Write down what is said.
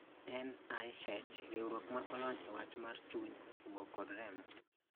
NIH: Riwruok ma olony e wach mar chuny, obo, kod remo